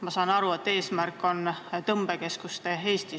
Ma saan aru, et suund on võetud tõmbekeskustele.